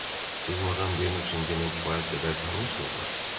Siz Madam de Nusingenə kifayət qədər tanışsızmı?